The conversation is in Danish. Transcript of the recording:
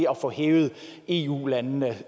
at få hævet eu landene